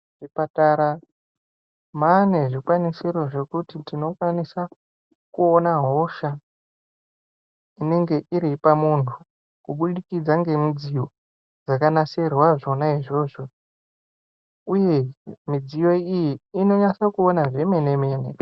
Mu zvipatara mane zvi kwanisiro zvekuti tino kwanisa kuona hosha inenge iripa muntu ku budikidza nge midziyo dzaka nasirwa zvona izvozvo uye midziyo iyi ino nyasa kuona zvemene mene.